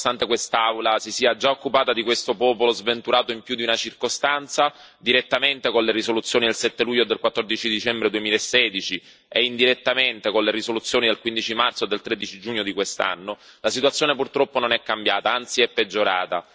Nonostante quest'Aula si sia già occupata di questo popolo sventurato in più di una circostanza, direttamente con le risoluzioni del 7 luglio del 14 dicembre 2016, e indirettamente con le risoluzioni del 15 marzo e del 13 giugno di quest'anno, la situazione purtroppo non è cambiata, anzi è peggiorata.